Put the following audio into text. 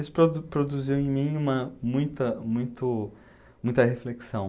Isso produ produziu em mim uma, muita muito muita reflexão.